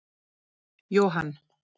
Johan